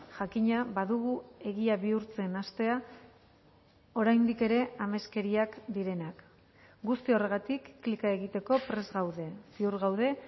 jakina badugu egia bihurtzen hastea oraindik ere ameskeriak direnak guzti horregatik klika egiteko prest gaude ziur gaude